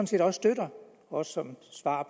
set også støtter også som svar